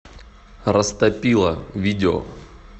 растопила видео